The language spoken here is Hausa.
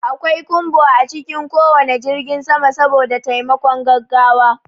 Akwai kumbo a cikin ko wane jirgin sama saboda taimakon gaggawa.